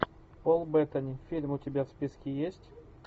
пол беттани фильм у тебя в списке есть